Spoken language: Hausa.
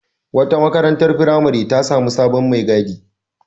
Wata marantar firamare ta sami sabon mai gadi.